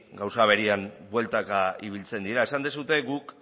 gauza berean bueltaka ibiltzen dira esan duzue guk